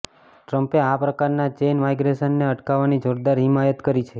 ટ્રમ્પે આ પ્રકારના ચેઇન માઇગ્રેશનને અટકાવવાની જોરદાર હિમાયત કરી છે